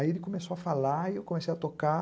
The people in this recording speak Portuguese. Aí ele começou a falar e eu comecei a tocar.